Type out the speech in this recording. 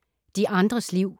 De andres liv